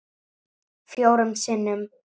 Fjórum sinnum